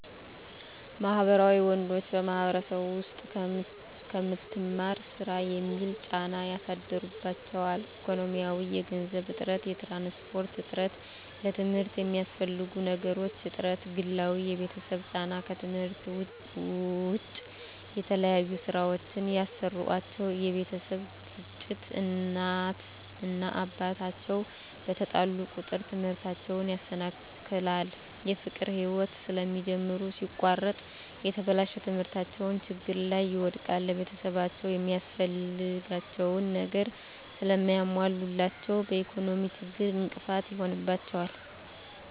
ማህበራዊ ወንዶች በማህበረሰቡ ዉስጥ ከምትማር ስራ የሚል ጫና ያሳድሩባቸዋል። ኢኮኖሚያዊ የገንዘብ እጥረት፣ የትራንስፖርት እጥረት፣ ለትምርት የሚያስፈልጉ ነገሮች እጥረት፣ ግላዊ የቤተሰብ ጫና ከትምህርት ዉጭ የተለያዩ ስራወችን ያሰሩአቸዋል የቤተሰብ ግጭት እናት እና አባት አቸዉ በተጣሉ ቁጥር ትምህርታቸዉን ያሰናክላል። የፍቅር ህይወት ስለሚጀምሩ ሲቆረጥ የተበላሸ ትምህርታቸዉን ችግር ላይ ይወድቃል። ቤተሰብአቸዉ የሚያስፈልጋቸዉን ነገር ስለማያሞሉላቸዉ በኢኮኖሚ ችግር እንቅፋት ይሆንባቸዋል።